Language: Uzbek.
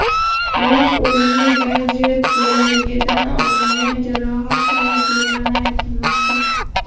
Biroq o‘limga gadjet bo‘lagidan olingan jarohat sabab bo‘lgani aytilmoqda.